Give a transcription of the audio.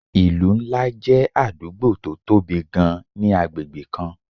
ìlú ńlá jẹ́ àdúgbò tó tóbi gan-an ni agbègbè kan